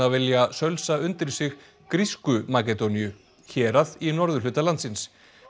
vilja sölsa undir sig grísku Makedóníu hérað í norðurhluta landsins